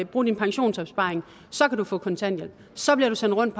bruge din pensionsopsparing og så kan du få kontanthjælp så bliver du sendt rundt